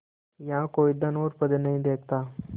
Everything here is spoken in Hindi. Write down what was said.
यहाँ कोई धन और पद नहीं देखता